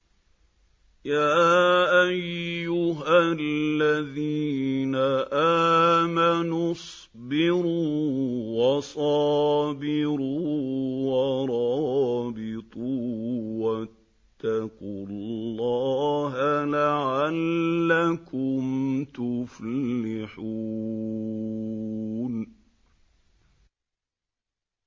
يَا أَيُّهَا الَّذِينَ آمَنُوا اصْبِرُوا وَصَابِرُوا وَرَابِطُوا وَاتَّقُوا اللَّهَ لَعَلَّكُمْ تُفْلِحُونَ